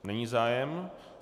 Není zájem.